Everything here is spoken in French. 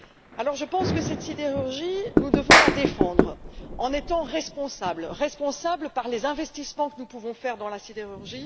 Alors je pense que cette sidérurgie, nous devons la défendre en étant responsables sur le plan des investissements que nous pouvons faire dans ce secteur.